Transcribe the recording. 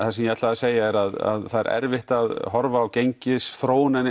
það sem ég ætlaði að segja er að það er erfitt að horfa á gengisþróunina